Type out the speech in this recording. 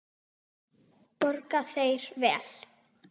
Borga þeir vel?